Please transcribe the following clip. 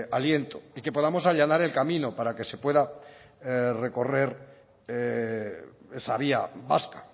aliento y que podamos allanar el camino para que se pueda recorrer esa vía vasca